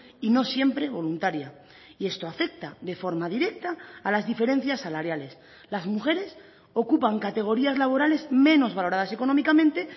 y no siempre voluntaria y esto afecta de forma directa a las diferencias salariales las mujeres ocupan categorías laborales menos valoradas económicamente